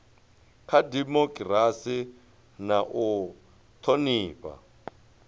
kha dimokirasi na u thonifha